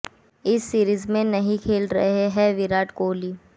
इस सीरीज में नहीं खेल रहे हैं विराट कोहली